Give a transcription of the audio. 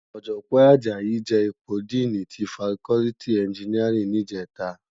Òjògbòn Ajayi je ipó dìní ti fákòlìtí ènjìníárìn nijètá